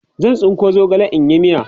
zan. tsinko zogale in yi miya